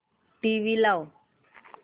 TV लाव